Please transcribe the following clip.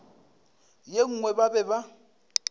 ye nngwe ba be ba